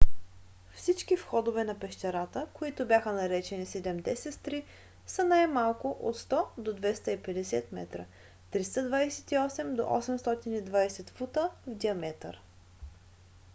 всички входове на пещерата които бяха наречени седемте сестри са най-малко от 100 до 250 метра 328 до 820 фута в диаметър